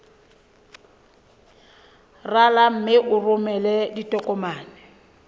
rala mme o romele ditokomene